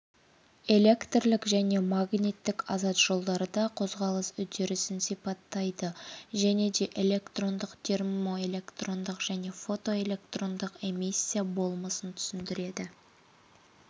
электрлік және магниттік азат жолдарда қозғалыс үрдісін сипаттайды және де электрондық термоэлектрондық және фотоэлектрондық эмиссия болмысын түсіндіреді